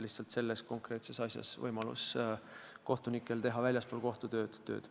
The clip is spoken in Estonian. Lihtsalt selles konkreetses komisjonis võivad kohtunikud väljaspool kohtutööd osaleda.